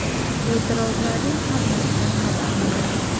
E’tirozlarning hammasidan xabarim bor.